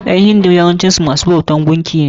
ƴan hindu yawancin su masu bautan gunki ne.